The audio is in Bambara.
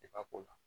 Depi